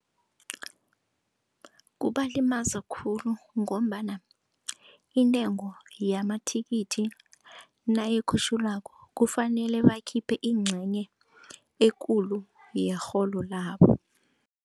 Kubalimaza khulu ngombana intengo yamathikithi nayikhutjhulwako kufanele bakhiphe incenye ekulu yerhelo labo.